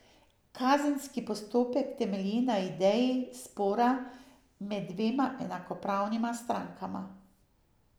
Kazenski postopek temelji na ideji spora med dvema enakopravnima strankama.